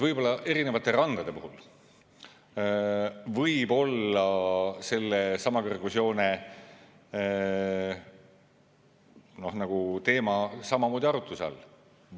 Võib-olla erinevate randade puhul võib sellesama kõrgusjoone teema samamoodi arutluse all olla.